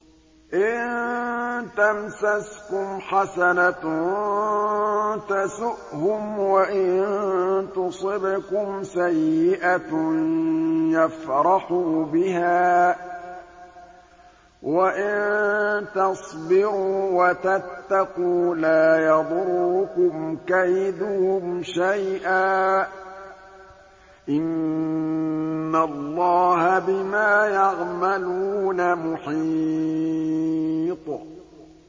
إِن تَمْسَسْكُمْ حَسَنَةٌ تَسُؤْهُمْ وَإِن تُصِبْكُمْ سَيِّئَةٌ يَفْرَحُوا بِهَا ۖ وَإِن تَصْبِرُوا وَتَتَّقُوا لَا يَضُرُّكُمْ كَيْدُهُمْ شَيْئًا ۗ إِنَّ اللَّهَ بِمَا يَعْمَلُونَ مُحِيطٌ